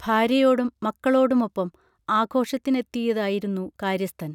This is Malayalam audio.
ഭാര്യയോടും മക്കളോടുമൊപ്പം ആഘോഷത്തിനെത്തിയതായിരുന്നു കാര്യസ്ഥൻ